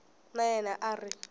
na yena a a ri